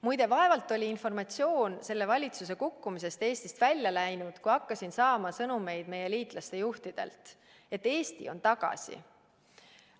Muide, vaevalt oli informatsioon selle valitsuse kukkumise kohta Eestist välja läinud, kui hakkasin saama meie liitlaste juhtidelt sõnumeid, et Eesti on tagasi.